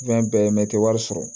bɛɛ mɛ teri wari sɔrɔ